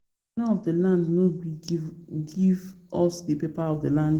The owner of the land no gree give of us the paper of the land